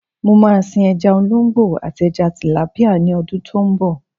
Mo máa sin ẹja olóńgbò àti ẹja tìlápíà ní ọdún tó ń bọ̀.